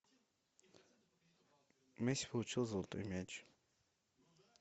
месси получил золотой мяч